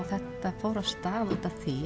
þetta fór af stað út af því